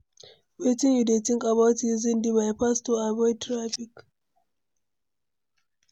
Wetin you dey think about using di bypass to avoid traffic?